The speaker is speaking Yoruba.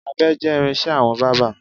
Abẹ jẹ́ irin-iṣẹ́ àwọn bábà.